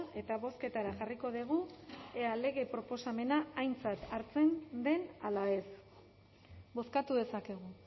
eta bozketara jarriko dugu ea lege proposamena aintzat hartzen den ala ez bozkatu dezakegu